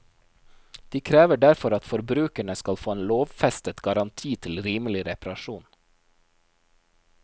De krever derfor at forbrukerne skal få en lovfestet garanti til rimelig reparasjon.